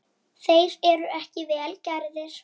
Þeir eru ekki vel gerðir.